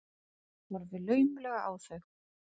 Horfi laumulega á þau.